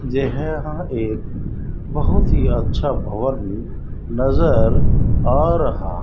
ज यहां एक बहुत ही अच्छा भवन नजर आ रहा है।